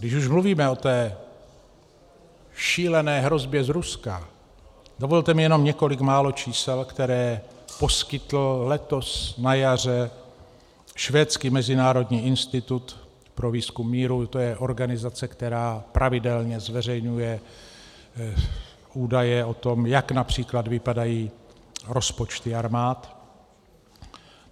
Když už mluvíme o té šílené hrozbě z Ruska, dovolte mi jen několik málo čísel, která poskytl letos na jaře švédský Mezinárodní institut pro výzkum míru, to je organizace, která pravidelně zveřejňuje údaje o tom, jak například vypadají rozpočty armád.